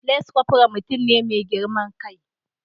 Lance corporal mutum ne mai girman kai